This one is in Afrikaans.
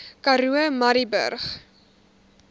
karoo murrayburg